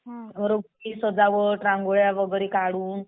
रस्ते सजावट, रांगोळ्या वगैरे काढून